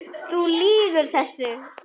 Þú lýgur þessu!